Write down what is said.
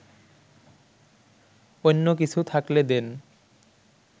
অইন্য কিছু থাকলে দেন